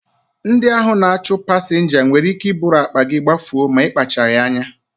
Ndị ahụ na-achụ pasinja nwere ike iburu akpa gị gbafuo ma ị kpachaghị anya